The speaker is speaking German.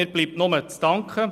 Mir bleibt nur zu danken.